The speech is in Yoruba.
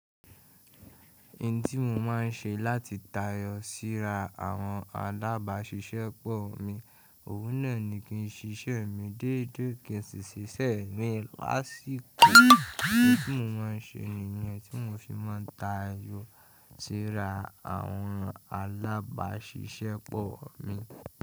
Ìn tí mo má n ṣe láti tayọ síra àwọn alábáṣiṣẹ́pọ̀ mi, òun náà ni kí n ṣiṣẹ́ mi déédéé kí n sì ṣiṣẹ́ mi lásíko. Ounn tí mo má n ṣe nìyẹn tí mo fi má ń tayọ síra àwọn alábáṣiṣẹ́pọ̀ mi.